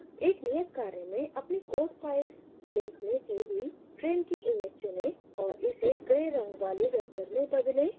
एक नियत कार्य में अपनी code files link में दी हुई train की image चुनें और इसे grays रंग वाले vector में बदलें